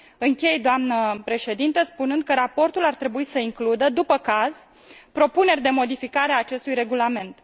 Închei, doamnă președintă, spunând că raportul ar trebui să includă, după caz, propuneri de modificare a acestui regulament.